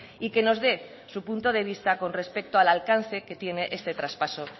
y que nos dé su punto de vista con respecto al alcance que tiene este traspaso